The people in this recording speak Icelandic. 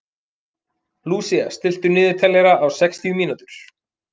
Lúsía, stilltu niðurteljara á sextíu mínútur.